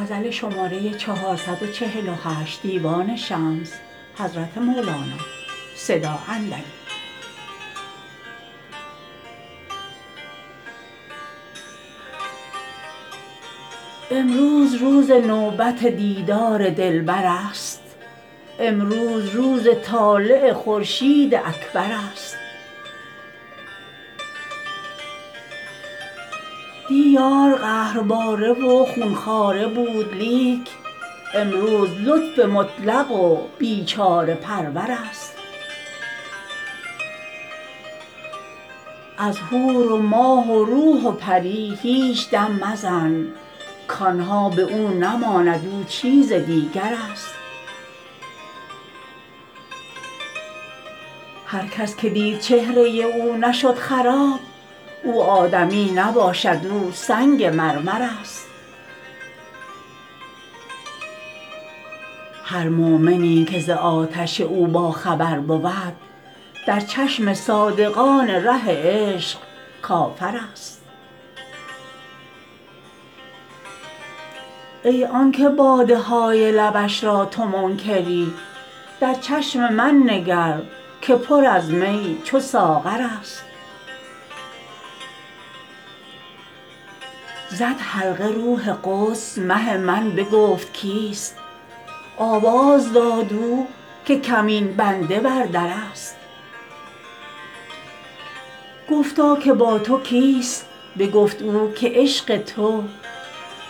امروز روز نوبت دیدار دلبرست امروز روز طالع خورشید اکبرست دی یار قهرباره و خون خواره بود لیک امروز لطف مطلق و بیچاره پرورست از حور و ماه و روح و پری هیچ دم مزن کان ها به او نماند او چیز دیگرست هر کس که دید چهره او نشد خراب او آدمی نباشد او سنگ مرمرست هر مؤمنی که ز آتش او باخبر بود در چشم صادقان ره عشق کافرست ای آنک باده های لبش را تو منکری در چشم من نگر که پر از می چو ساغرست زد حلقه روح قدس مه من بگفت کیست آواز داد او که کمین بنده بر درست گفتا که با تو کیست بگفت او که عشق تو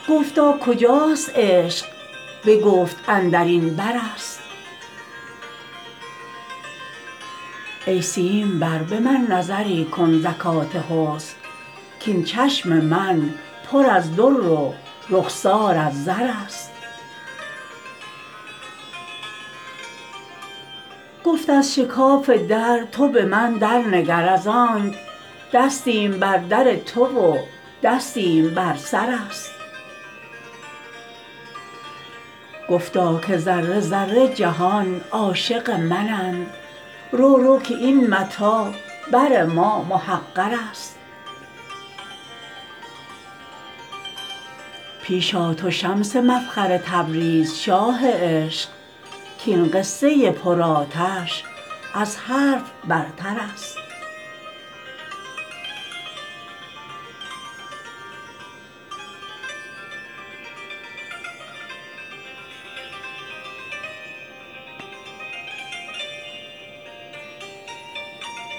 گفتا کجا است عشق بگفت اندر این برست ای سیمبر به من نظری کن زکات حسن کاین چشم من پر از در و رخسار از زرست گفت از شکاف در تو به من درنگر از آنک دستیم بر در تو و دستیم بر سرست گفتا که ذره ذره جهان عاشق منند رو رو که این متاع بر ما محقرست پیش آ تو شمس مفخر تبریز شاه عشق کاین قصه پرآتش از حرف برترست